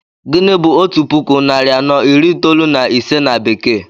Gịnị bu otu puku narị anọ iri itoolu na ise na bekee?